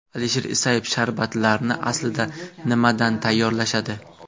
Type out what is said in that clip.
Alisher Isayev Sharbatlarni aslida nimadan tayyorlashadi?